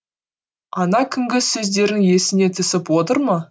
ана күнгі сөздерің есіңе түсіп отыр ма